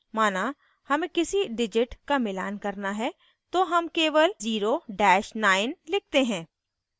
माना हमें किसी digit का मिलान करना है तो हम केवल 09 लिखते हैं